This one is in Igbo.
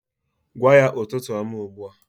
Gwa ya ụtụtụ ọma ugbu a